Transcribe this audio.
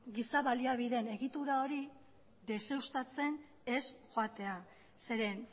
giza baliabideen egitura hori deuseztatzen ez joatea zeren